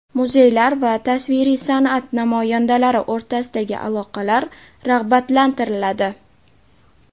Muzeylar va tasviriy san’at namoyandalari o‘rtasidagi aloqalar rag‘batlantiriladi.